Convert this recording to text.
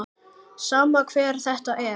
Sama hver þetta er.